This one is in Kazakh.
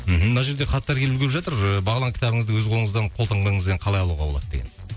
мхм мына жерде хаттар келіп үлгеріп жатыр ыыы бағлан кітабыңызды өз қолыңыздан қолтаңбаңызбен қалай алуға болады деген